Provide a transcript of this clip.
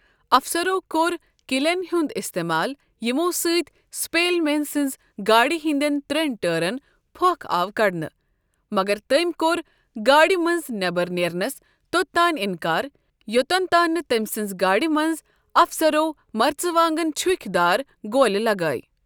افسَرو کوٚر 'کِلیٚن' ہُنٛد اِستعمال یَمو سۭتۍ سٕپیٚلمین سٕنٛزِ گاڑِ ہِنٛدیٚن ترٛیٚن ٹٲرن پھۄکھ آو کڑنہٕ، مگر تٔمی کوٚر گاڑِ منٛزٕ نیبر نیرنس توٚتانۍ اِنکار یوٚتَن تانۍ نہٕ تٔمۍ سٕنٛزِ گاڑِ منٛز افسَرو مرژٕ وانگن چُھکۍ دار گولہِ لَگاوِۍ۔